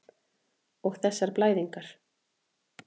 Og þessar blæðingar.